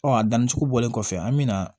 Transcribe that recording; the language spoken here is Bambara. Ɔ a danni cogo bɔlen kɔfɛ an bɛ na